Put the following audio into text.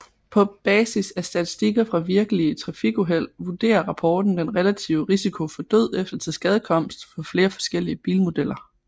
På basis af statistikker fra virkelige trafikuheld vurderer rapporten den relative risiko for død eller tilskadekomst for flere forskellige bilmodeller